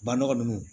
Banɔgɔ ninnu